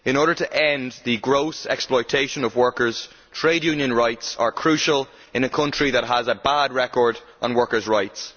In order to end the gross exploitation of workers, trade union rights are crucial in a country that has a bad record on workers' rights.